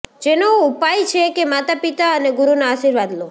જેનો ઉપાય છે કે માતા પિતા અને ગુરુના આશીર્વાદ લો